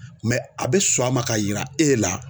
a be sɔn a ma ka yira e la.